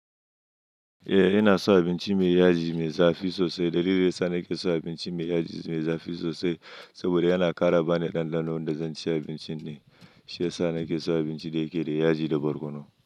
Eh, ina so abinci mai yaji, mai zafi sosai. Dalili daya sa nake so abinci mai yaji, mai zafi sosai saboda yana ƙara bani ɗanɗano na zan ci abincin ne. Shi ya sa nake so abinci da yake da yaji da barkono.